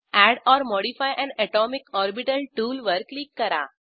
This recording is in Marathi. add or modify an atomic orbital टूलवर क्लिक करा